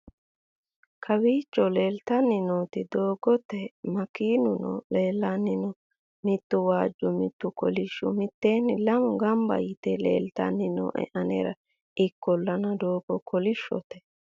kawiicho leeltanni nooti doogote makeenuno leellanni nooe mittu waajju mittu kolishu miteenni lamu gamba yite leeltanni nooe aneera ikkollana doogo kolishshote